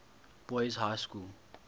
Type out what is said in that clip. boys high school